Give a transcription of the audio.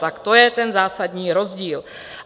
Tak to je ten zásadní rozdíl.